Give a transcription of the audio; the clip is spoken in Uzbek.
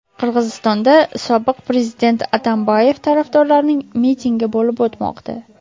Qirg‘izistonda sobiq prezident Atambayev tarafdorlarining mitingi bo‘lib o‘tmoqda.